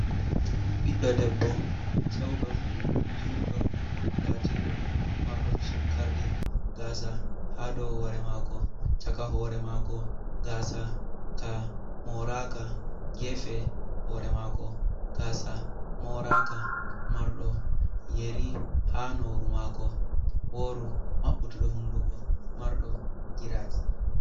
Ɓiɗɗo debbo cewdo, juɗɗo, latiɗo mardo chukkardi gasa ha dou hore mako. Chaka hoore mako gasa ka moraka, gefe hoore mako gasa moraka. Marɗo yeri ha nofru mako woru. Maɓɓutuɗɗo hunduko marɗo giraji.